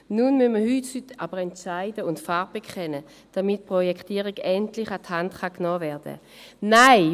Heute müssen wir uns nun aber entscheiden und Farbe bekennen, damit die Projektierung endlich an die Hand genommen werden kann.